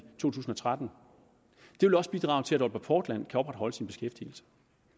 to tusind og tretten vil også bidrage til at aalborg portland kan opretholde sin beskæftigelse